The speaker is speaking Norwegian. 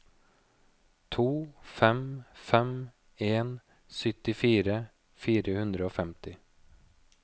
to fem fem en syttifire fire hundre og femti